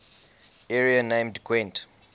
area named gwent